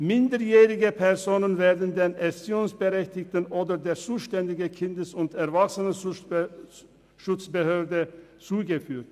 Minderjährige Personen werden den Erziehungsberechtigten oder der zuständigen Kindes- und Erwachsenenschutzbehörde zugeführt.